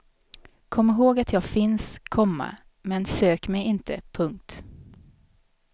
Kom ihåg att jag finns, komma men sök mig inte. punkt